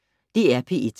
DR P1